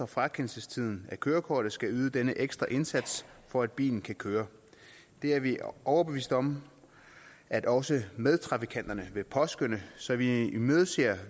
frakendelsestiden af kørekortet skal yde denne ekstra indsats for at bilen kan køre det er vi overbevist om at også medtrafikanterne vil påskønne så vi imødeser